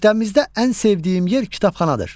Məktəbimizdə ən sevdiyim yer kitabxanadır.